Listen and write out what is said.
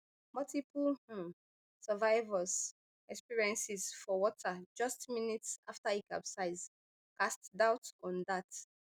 multiple um survivors experiences for water just minutes afta e capsize casts doubt on dat